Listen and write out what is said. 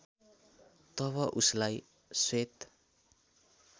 तब उसलाई श्वेत